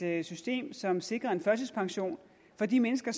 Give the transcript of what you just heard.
er et system som sikrer en førtidspension for de mennesker